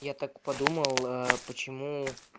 я так подумал почему